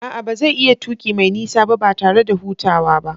A'a, ba zai iya tuki mai nisa ba, ba tare da hutawa ba.